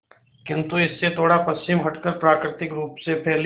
किंतु इससे थोड़ा पश्चिम हटकर प्राकृतिक रूप से फैली